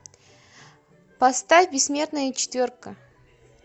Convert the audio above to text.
поставь бессмертная четверка